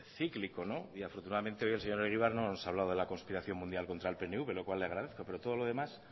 cíclico y afortunadamente hoy el señor egibar no nos hablado de la conspiración mundial contra el pnv lo cual le agradezco pero todo lo demás